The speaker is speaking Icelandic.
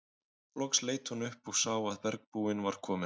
Loks leit hún upp og sá að bergbúinn var kominn aftur.